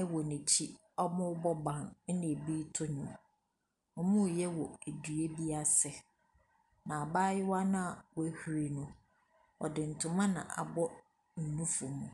ɛwɔ n'akyi ɔmoo bɔ ban ɛna ɛbii to nnwom. Ɔmoo yɛ wɔ ɛdua bi ase na abaayewa na w'ahuri no ɔde ntoma na abɔ ne nufo mu.